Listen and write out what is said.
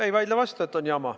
Ei vaidle vastu, et on jama.